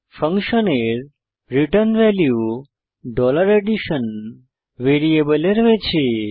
ফাংশনের return value addition ভ্যারিয়েবলে রয়েছে